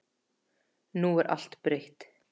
Nú er allt breytt.